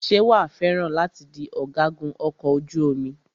Ṣé wàá fẹ́ràn láti di ọ̀gágun ọkọ̀ ojú omi?